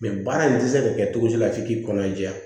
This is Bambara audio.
Mɛ baara in tɛ se ka kɛ cogo di la f'i k'i kɔnɔ jɛya